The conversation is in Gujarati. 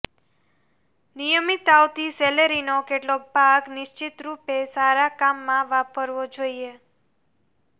નિયમિત આવતી સેલેરીનો કેટલોક ભાગ નિશ્ચિત રૂપે સારા કામમાં વાપરવો જોઇએ